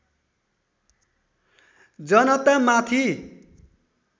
जनता माथि